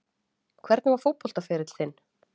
Hvernig var fótboltaferill þinn?